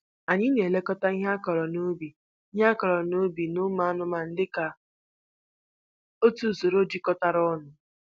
Anyị na-elekọta ihe akụrụ n'ubi ihe akụrụ n'ubi na ụmụ anụmanụ dịka otu usoro jikọtara ọnụ.